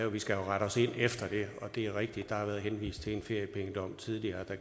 vi skal rette ind efter det og det er rigtigt at der har været henvist til en feriepengedom tidligere der